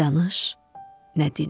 Nə danış, nə din.